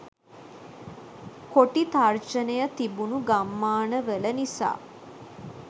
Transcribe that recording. කොටි තර්ජනය තිබුණු ගම්මානවල නිසා.